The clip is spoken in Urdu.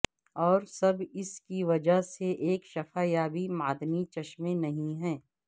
اور سب اس کی وجہ سے ایک شفا یابی معدنی چشمے نہیں ہے